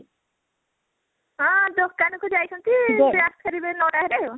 ହଁ ଦୋକାନ କୁ ଯାଇଛନ୍ତି ସେ ଫେରିବେ ନଅ ଟା ହେଲେ ଆଉ